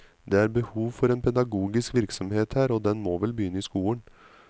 Det er behov for en pedagogisk virksomhet her, og den må vel begynne i skolen.